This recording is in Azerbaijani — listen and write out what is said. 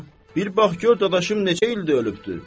Bir bax gör dadaşım neçə ildir ölübdür.